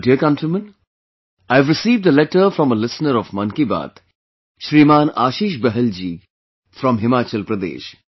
My dear countrymen, I have received a letter from a listener of 'Mann Ki Baat', Shriman Ashish Bahl ji from Himachal Pradesh